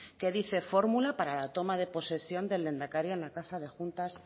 que dice fórmula para la toma de posesión del lehendakari en la casa de juntas